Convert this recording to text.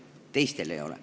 Teistel ei ole.